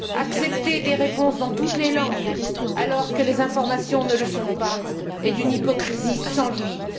Accepter des réponses dans toutes les langues alors que les informations ne le sont pas est d'une hypocrisie sans limite.